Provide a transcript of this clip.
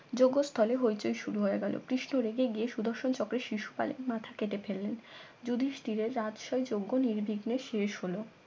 যোগ্যস্থলে হইচই শুরু হয়ে গেল কৃষ্ণ রেগে গিয়ে সুদর্শন চক্রের শিশুপাল এর মাথা কেটে ফেললেন যুধিষ্ঠিরের রাজশাহী যোগ্য নির্বিঘ্নে শেষ হলো